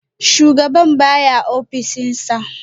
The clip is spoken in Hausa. Shugaban baya a ofishinsa